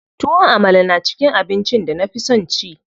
Tuwon Amala na cikin abincin da na fi son ci.